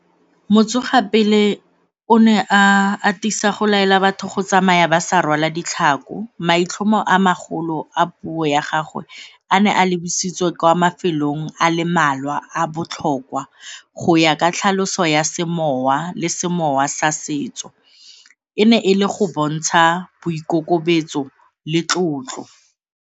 Motsoga pele o ne a atisa go laela batho go tsamaya ba sa rwala ditlhako, maitlhomo a magolo a puo ya gagwe a ne a lebisitswe kwa mafelong a a le mmalwa a botlhokwa. Go ya ka tlhaloso ya semowa le semowa sa setso e ne e le go bontsha boikokobetso le tlotlo.